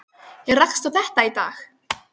Ég rakst á þetta í dag.